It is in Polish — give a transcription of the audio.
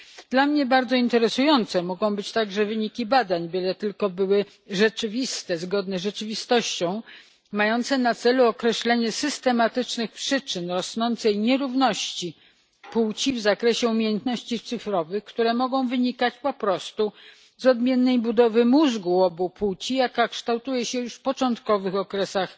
Dla mnie bardzo interesujące mogą być także wyniki badań, byle tylko były zgodne z rzeczywistością, mające na celu określenie systematycznych przyczyn rosnącej nierówności płci w zakresie umiejętności cyfrowych, które mogą wynikać po prostu z odmiennej budowy mózgu u obu płci, jaka kształtuje się już w początkowych okresach